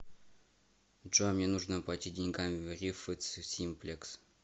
джой мне нужно оплатить деньгами в рифц симплекс